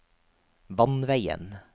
vannveien